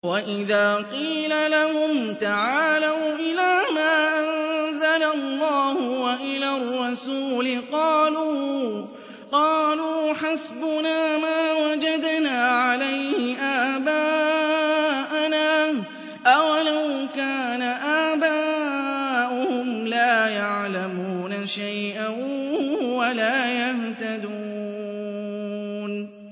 وَإِذَا قِيلَ لَهُمْ تَعَالَوْا إِلَىٰ مَا أَنزَلَ اللَّهُ وَإِلَى الرَّسُولِ قَالُوا حَسْبُنَا مَا وَجَدْنَا عَلَيْهِ آبَاءَنَا ۚ أَوَلَوْ كَانَ آبَاؤُهُمْ لَا يَعْلَمُونَ شَيْئًا وَلَا يَهْتَدُونَ